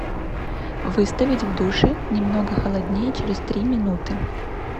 выставить в душе немного холоднее через три минуты